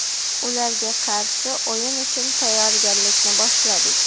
Ularga qarshi o‘yin uchun tayyorgarlikni boshladik.